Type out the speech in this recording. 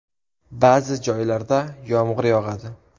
Ba’zi joylarda yomg‘ir yog‘adi.